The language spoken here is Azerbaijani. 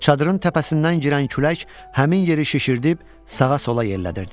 Çadırın təpəsindən girən külək həmin yeri şişirdib sağa-sola yellədirdi.